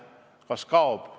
Aga kas see kaob?